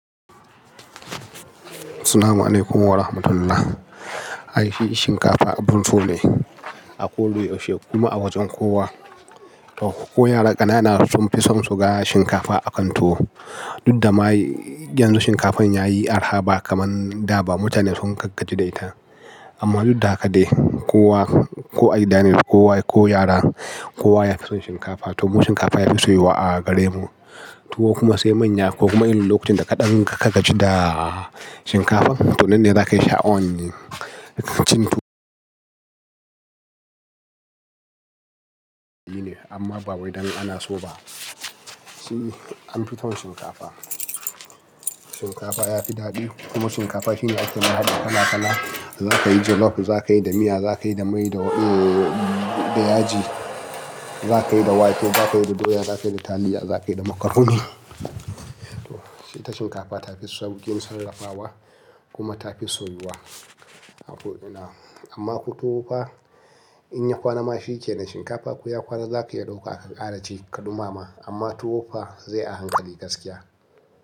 Salama alaikum warahmatullahi. Ai shi shinkafa abun so ne a ko da yaushe kuma a wajen kowa. To ko yara ƙanana sun fi son su ga shinkafa akan tuwo. Dudda ma yanzu shinkafan yayi arha ba kaman da ba mutane sun gaggaji da ita. Amma dud da haka dai kowa ko a gidan, ko yara kowa ya fi son shinkafa. To mu shinkafa ya fi soyuwa a gare mu. Tuwo kuma sai manya ko kuma inrin lokacin da ka dan ka ka gaji da shinkafan to nan ne za ka yi sha'awan. Amma ba wai dan ana so ba. Shi an fi son shinkafa. Shinkafa ya fi daɗi kuma shinkafa shine ake haɗi kala kala. Za ka yi jollof, za ka yi da miya, za ka yi da mai da yaji, za ka yi da wake, za ka yi da doya, za ka yi da taliya, za ka yi da macaroni. To shi ita shinkafa ta fi saukin sarrafawa kuma ta fi soyuwa a ko ina. Amma ko tuwo fa in ya kwana ma shi ke nan shinkafa ko ya kwana za ka iya dauka aka ƙara ci ka ɗumama. Amma tuwo fa zai a hankali gaskiya.